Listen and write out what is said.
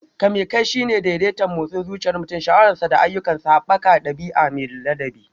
Kame kai shine daidaita motsin zuciyar mutum, sha'awarsa, da ayyukansa, haɓaka ɗabi'a mai ladabi.